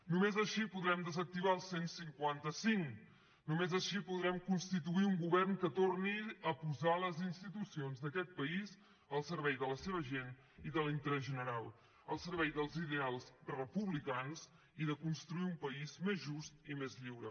només així podrem desactivar el cent i cinquanta cinc només així podrem constituir un govern que torni a posar les institucions d’aquest país al servei de la seva gent i de l’interès general al servei dels ideals republicans i de construir un país més just i més lliure